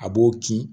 A b'o ki